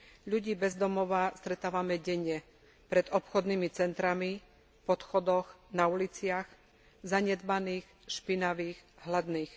Ľudí bez domova stretávame denne pred obchodnými centrami, v podchodoch, na uliciach, zanedbaných, špinavých, hladných.